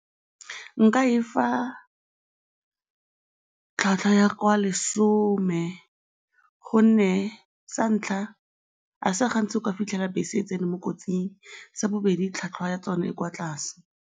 Nka e fa tlhwatlhwa ya kwa lesome gonne sa ntlha, ga se gantsi o ka fitlhela bese e tsene mo kotsing, sa bobedi tlhwatlhwa ya tsona e kwa tlase.